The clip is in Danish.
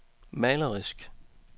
malerisk